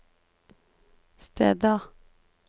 steder